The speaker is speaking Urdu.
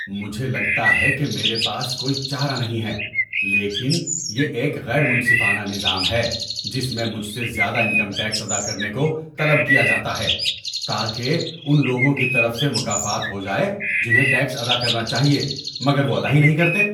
مجھے لگتا ہے کہ میرے پاس کوئی چارہ نہیں ہے، لیکن یہ ایک غیر منصفانہ نظام ہے جس میں مجھ سے زیادہ انکم ٹیکس ادا کرنے کو طلب کیا جاتا ہے تاکہ ان لوگوں کی طرف سے مکافات ہو جائے جنہیں ٹیکس ادا کرنا چاہیے مگر وہ ادا ہی نہیں کرتے۔